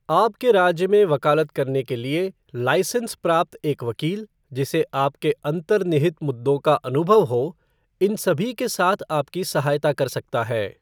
आपके राज्य में वकालत करने के लिए लाइसेंस प्राप्त एक वकील, जिसे आपके अंतर्निहित मुद्दों का अनुभव हो, इन सभी के साथ आपकी सहायता कर सकता है।